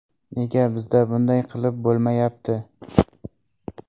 Nega bizda bunday qilib bo‘lmayapti?